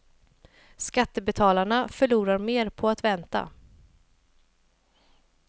Skattebetalarna förlorar mer på att vänta.